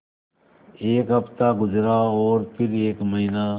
एक हफ़्ता गुज़रा और फिर एक महीना